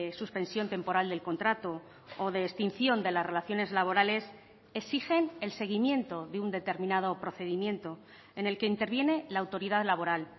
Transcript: suspensión temporal del contrato o de extinción de las relaciones laborales exigen el seguimiento de un determinado procedimiento en el que interviene la autoridad laboral